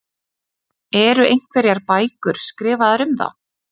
Eru einhverjar bækur skrifaðar um þá?